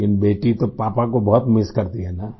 लेकिन बेटी तो पापा को बहुत मिस करती है ना